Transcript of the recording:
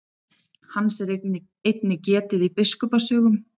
Hans er einnig getið í biskupa sögum.